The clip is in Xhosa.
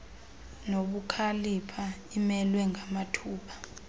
nobukhalipha imelwe ngamathupha